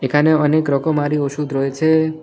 এখানে অনেক রকমারি ওষুধ রয়েছে।